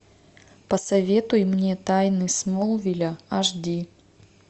посоветуй мне тайны смолвиля аш ди